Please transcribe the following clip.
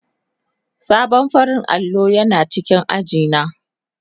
Sabon farar allo yana cikin aji na.